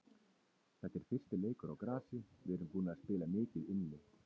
Þetta er fyrsti leikur á grasi, við erum búnir að spila mikið inni.